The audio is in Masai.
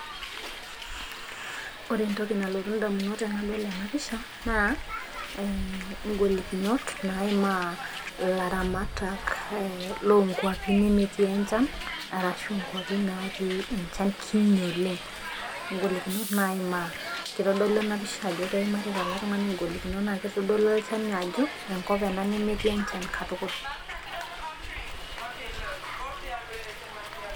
Ore entoki nalotu damunot tenadol ena pisha naa e igolikinot naimaa ilaramatak loo nkuapi lemetii enchan. arashu nkuapi natii enchan. kinyi oleng. golikinot naimaa. kitodolu ena pisha ajo keimarita ele tungani golikinot naa kitodolu olchani ajo. enkop ena nemetii enchan katukul.